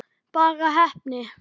Bara heppni?